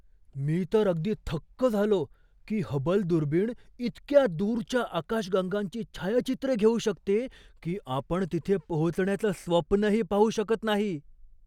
मी तर अगदी थक्क झालो की हबल दुर्बिण इतक्या दूरच्या आकाशगंगांची छायाचित्रे घेऊ शकते की आपण तिथे पोहोचण्याचं स्वप्नही पाहू शकत नाही!